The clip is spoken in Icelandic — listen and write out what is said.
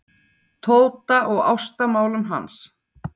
Tóta og ástamálum hans.